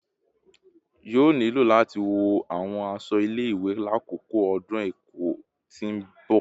Yoo nilo lati wọ awọn aṣọ ile-iwe lakoko ọdun ẹkọ ti n bọ